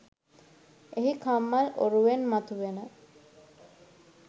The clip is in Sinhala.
එහි කම්මල් ඔරුවෙන් මතුවන